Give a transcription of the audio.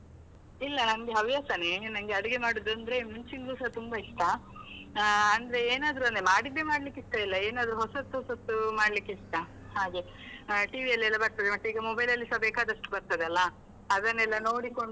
ಇಲ್ಲ ನನ್ಗೆ ಹವ್ಯಾಸನೆ, ನನ್ಗೆ ಅಡುಗೆ ಮಾಡುದಂದ್ರೆ ಮುಂಚಿಂದ್ಲುಸ ತುಂಬ ಇಷ್ಟ, ಆ ಅಂದ್ರೆ ಏನಾದ್ರು ಅಂದ್ರೆ ಮಾಡಿದ್ದೆ ಮಾಡ್ಲಿಕ್ಕೆ ಇಷ್ಟ ಇಲ್ಲ, ಏನಾದ್ರು ಹೊಸತ್ ಹೊಸತ್ತು ಮಾಡ್ಲಿಕ್ಕೆ ಇಷ್ಟ ಹಾಗೆ, TV ಅಲ್ಲೆಲ್ಲ ಬರ್ತದೆ ಮತ್ತೆ ಈಗ mobile ಅಲ್ಲಿಸ ಬೇಕಾದಷ್ಟು ಬರ್ತದೆ ಅಲ್ಲ ಅದನ್ನೆಲ್ಲ ನೋಡಿಕೊಂಡು.